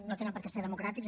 no tenen per què ser democràtics